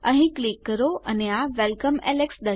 અહીં ક્લિક કરો અને આ વેલકમ એલેક્સ